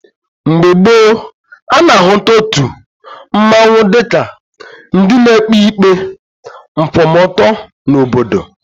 Mgbe gboo, a na-ahụta otu mmanwụ dịka ndị na-ekpe ikpe nkwụmọtọ n'obodo.